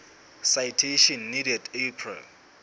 citation needed april